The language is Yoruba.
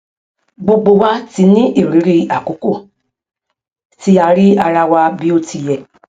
gbogbo wa ti ní ìrírí àkókò tí a rí ara wa bí ó ti yẹ